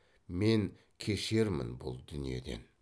мен кешермін бұл дүниеден